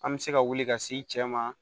An bɛ se ka wuli ka se i cɛ ma